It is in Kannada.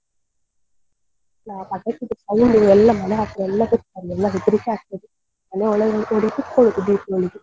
ಆ ಪಟಾಕಿದ್ದು sound ಎಲ್ಲ ಮನೆ ಹತ್ರ ಎಲ್ಲ ಅಲ್ಲೆಲ್ಲ ಹೆದ್ರಿಕ್ಕೆ ಆಗ್ತದೆ ಮನೆ ಒಳಗೆ ಓಡಿ ಹೋಗಿ ಕುತ್ಕೊಳ್ಳುದು Deepavali .